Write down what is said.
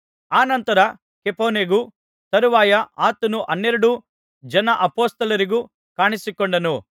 ಅನಂತರ ಕೇಫನಿಗೂ ತರುವಾಯ ಆತನು ಹನ್ನೆರಡು ಜನ ಅಪೊಸ್ತಲರಿಗೂ ಕಾಣಿಸಿಕೊಂಡನು